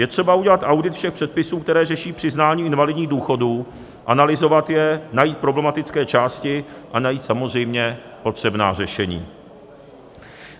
Je třeba udělat audit všech předpisů, které řeší přiznání invalidních důchodů, analyzovat je, najít problematické části a najít samozřejmě potřebná řešení.